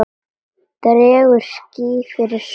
Dregur ský fyrir sólu!